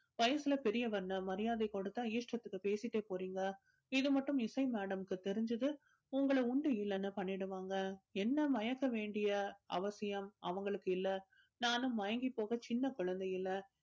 வயசுல பெரியவர்னு மரியாதை கொடுத்தா இஷ்டத்துக்கு பேசிட்டே போறீங்க இது மட்டும் இசை madam க்கு தெரிஞ்சது உங்களை உண்டு இல்லைன்னு பண்ணிடுவாங்க என்னை மயக்க வேண்டிய அவசியம் அவங்களுக்கு இல்ல நானும் மயங்கி போக சின்ன குழந்தை இல்ல